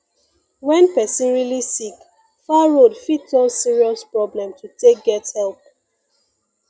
when person really sick far road fit turn serious problem to take get help